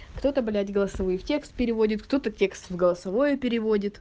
кто-то блять голосовые в текст переводит текст в голосовое переводит